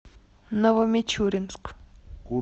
новомичуринск